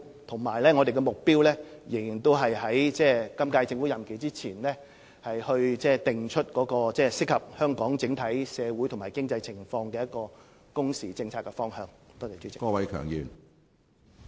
我們的目標仍然是在本屆政府任期完結前，訂定適合香港整體社會及經濟情況的工時政策方向。